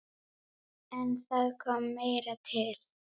En það kom meira til.